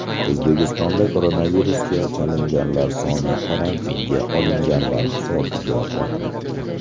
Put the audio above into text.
O‘zbekistonda koronavirusga chalinganlar soni karantinga olinganlar hisobiga ortmoqda.